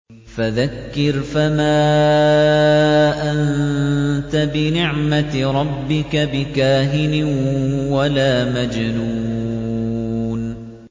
فَذَكِّرْ فَمَا أَنتَ بِنِعْمَتِ رَبِّكَ بِكَاهِنٍ وَلَا مَجْنُونٍ